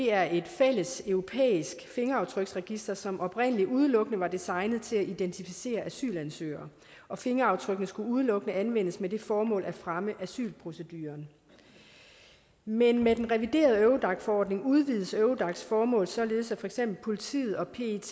er et fælles europæisk fingeraftryksregister som oprindelig udelukkende var designet til at identificere asylansøgere og fingeraftrykkene skulle udelukkende anvendes med det formål at fremme asylproceduren men med den reviderede eurodac forordning udvides eurodacs formål således at for eksempel politiet og pet